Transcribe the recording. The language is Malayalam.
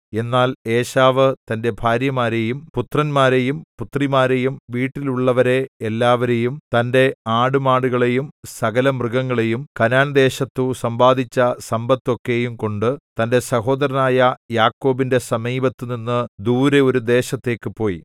എന്നാൽ ഏശാവ് തന്റെ ഭാര്യമാരെയും പുത്രന്മാരെയും പുത്രിമാരെയും വീട്ടിലുള്ളവരെ എല്ലാവരേയും തന്റെ ആടുമാടുകളെയും സകലമൃഗങ്ങളെയും കനാൻദേശത്തു സമ്പാദിച്ച സമ്പത്തൊക്കെയുംകൊണ്ടു തന്റെ സഹോദരനായ യാക്കോബിന്റെ സമീപത്തുനിന്നു ദൂരെ ഒരു ദേശത്തേക്ക് പോയി